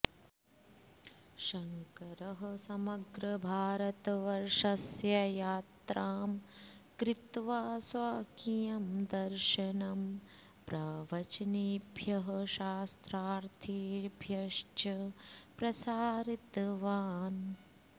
शङ्करः समग्रभारतवर्षस्य यात्रां कृत्वा स्वकीयं दर्शनं प्रवचनेभ्यः शास्त्रार्थेभ्यश्च प्रसारितवान्